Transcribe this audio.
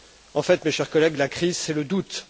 En fait, mes chers collègues, la crise, c'est le doute.